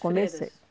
freiras. Comecei